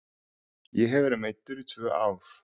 Ég hef verið meiddur í tvö ár.